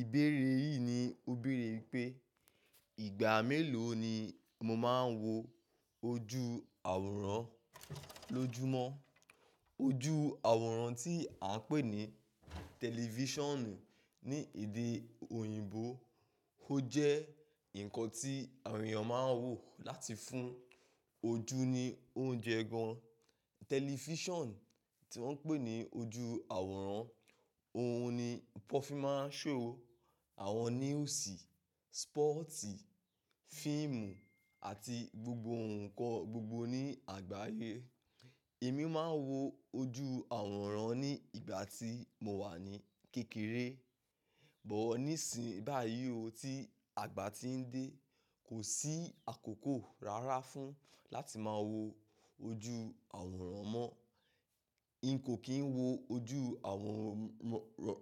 Ìbéere yìí ni ó béèrè pé ìgbà mélòó ni mo máa ń wo ojú àwòrán lójúmọ́? Ojú àwòrán tí a ń pè ní tẹlifíṣànù ní èdè òyìnbó, ó jẹ́ nǹkan tí àwọn èèyàn máa ń wò láti fún ojú ní oúnjẹ gan. Tẹlifíṣàn tí wọ́n ń pè ní ojú àwòrán, òhun ni wọn fí máa ń show àwọn news, sports, fíìmù àti gbogbo ǹkan gbogbo ní àgbáyé. Èmi máa ń wo ojú àwòrán ní ìgbà tí mo wà ní kékeré, but níìsín báyìí ó, tí àgbà tí ń dé kò sí àkókò rárá fún láti máa wo ojú àwòrán mọ́. Tẹlifíṣàn tí wọ́n ń pè ní ojú àwòrán, òhun ni wọn fí máa ń show àwọn news, sports, fíìmù àti gbogbo ǹkan gbogbo ní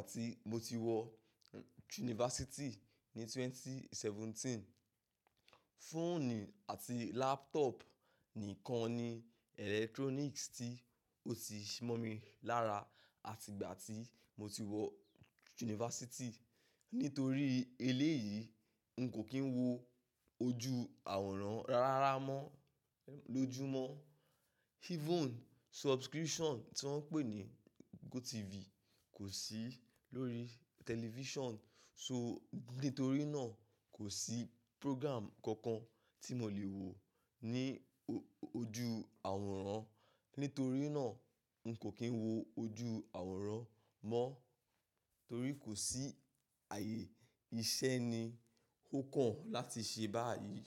àgbáyé. Fóònù àti laptop nìkan ni electronics tí ó ti mọ̀ mi lára àti ìgbà tí mo ti wọ yunifásítì. Nítorí eléyìí, n kò kí ń wo ojú àwòrán rárá mọ́ lójúmọ́. Even subscription tí wọ́n ń pè ní GoTv kò sí lórí tẹlifíṣàn, so nítorí náà kò sí program kankan tí mo lè wò ní ojú àwòrán. Nítorí náà, n kò kí ń wo ojú àwòrán mọ́ torí kò sí ààyè iṣẹ́ ni ó kàn láti ṣe báyìí.